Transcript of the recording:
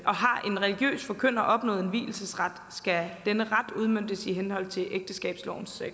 religiøs forkynder opnået en vielsesret skal denne ret udmøntes i henhold til ægteskabslovens